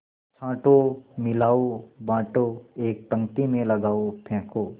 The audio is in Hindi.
छाँटो मिलाओ बाँटो एक पंक्ति में लगाओ फेंको